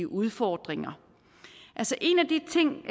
udfordringer en af de ting